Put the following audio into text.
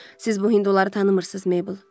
Siz bu hinduları tanımırsız, Meybl.